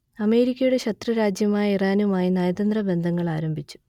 അമേരിക്കയുടെ ശത്രുരാജ്യമായ ഇറാനുമായി നയതന്ത്ര ബന്ധങ്ങൾ ആരംഭിച്ചു